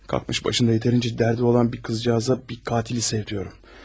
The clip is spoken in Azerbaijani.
Qalxıb başında kifayət qədər dərdi olan bir qızcığaza bir qatili sevdirirəm.